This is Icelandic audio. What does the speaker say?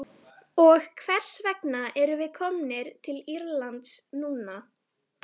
Þær sáust frá fjarstýrðum ómönnuðum kafbáti.